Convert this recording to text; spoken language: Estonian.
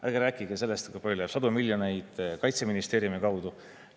Ärge rääkige sellest, kui mitusada miljonit läheb Kaitseministeeriumi kaudu.